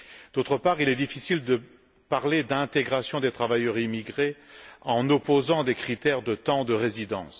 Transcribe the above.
D'autre part, il est difficile de parler d'intégration des travailleurs immigrés en opposant des critères de temps de résidence.